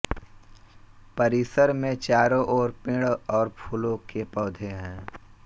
परिसर में चारों ओर पेड़ और फूलों के पौधे हैं